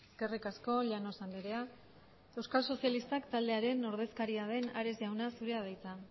eskerrik asko llanos andrea euskal sozialistak taldearen ordezkaria den ares jauna zure da hitza